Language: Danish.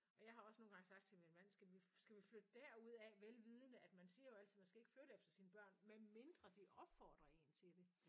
Og jeg har også nogle gange sagt til min mand skal vi skal vi flytte derudad? Velvidende at man siger jo altid man skal ikke flytte efter sine børn medmindre de opfordrer en til det